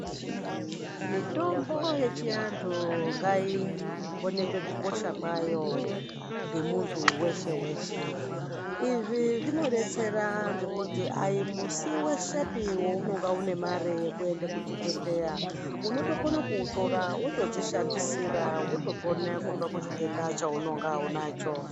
Mitombo yechiantu ngaionekwe kukosha kwayo ngemuntu weshe-weshe. Izvi zvinodetsera ngekuti aimusi weshepi wounonga unemare yekuenda kuchibhedhleya. Unotokone kuutora wotodzishandisire, wotopona kubva kuchitenda chounonga unacho.